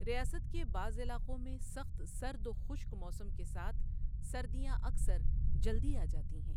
ریاست کے بعض علاقوں میں سخت سرد و خشک موسم کے ساتھ، سردیاں اکثر جلدی آجاتی ہیں۔